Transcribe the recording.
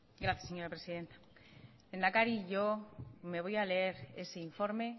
gracias señora presidenta lehendakari yo me voy a leer ese informe